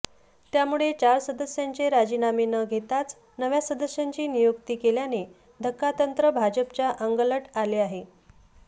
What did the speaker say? त्यामुळे चार सदस्यांचे राजीनामे न घेताच नव्या सदस्यांची नियुक्ती केल्याने धक्कातंत्र भाजपच्या अंगलट आले आहे